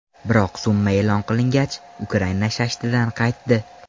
Biroq summa e’lon qilingach, Ukrain shashtidan qaytdi.